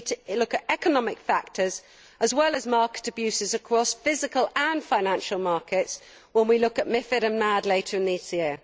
We need to look at economic factors as well as market abuses across physical and financial markets when we look at MiFID and MAD later this year.